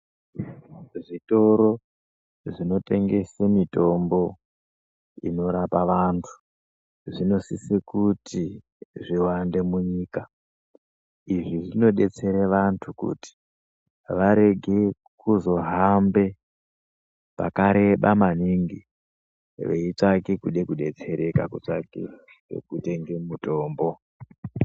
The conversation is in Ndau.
Zvitoro zvinotengese mutombo unorapa vantu zvinosisa kuti zviwande munyika zvinodetsera vantu kuti varege kuzohamba pakareba maningi veitsvake kuda kudetsereka ngekutenge mitombo.